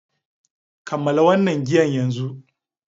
Kammala wannan giyan yanzu!